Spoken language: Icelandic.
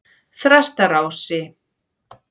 Þrastarási